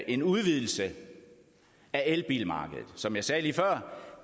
en udvidelse af elbilmarkedet som jeg sagde lige før